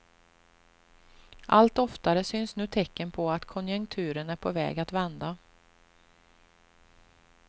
Allt oftare syns nu tecken på att konjunkturen är på väg att vända.